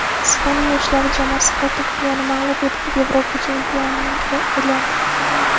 Ispaniya yoshlar jamoasi Portugaliyani mag‘lub etib, Yevropa chempioniga aylandi.